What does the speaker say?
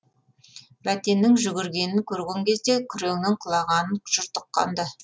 бәтеннің жүгіргенін көрген кезде күреңнің құлағанын жұрт ұққан ды